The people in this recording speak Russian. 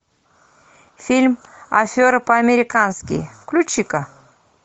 фильм афера по американски включи ка